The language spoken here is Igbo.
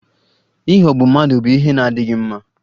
Ịghọgbu mmadụ bụ ihe na-adịghị mma